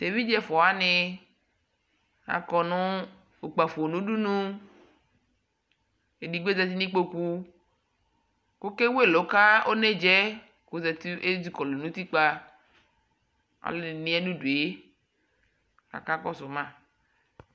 Eviɖʒeɛ ɛfuawani akɔ nu kpafo nudunu edigboƶati nikpoku kɔkewu ɛluu kɔneɖʒa Eƶikɔlu nutikpa nʋdue kɔkakɔsu ma